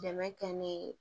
Dɛmɛ kɛ ne ye